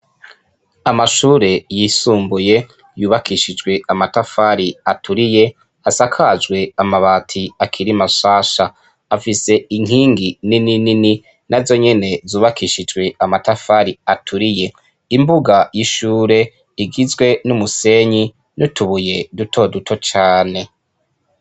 Amashure yisumbuye yubakishijwe amatafari aturiye asakajwe amabati akiri mashasha afise inkingi nininini nazonyene zubakishijwe amatafari aturiye , imbuga y'ishure igizwe n'umusenyi n'utubuye dutoduto cane.